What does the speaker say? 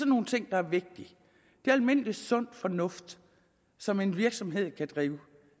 nogle ting der er vigtige det er almindelig sund fornuft som en virksomhed kan